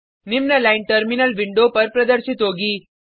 निम्न line terminal window पर प्रदर्शित होगी